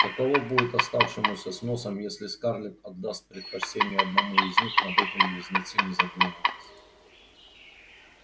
каково будет оставшемуся с носом если скарлетт отдаст предпочтение одному из них над этим близнецы не задумывались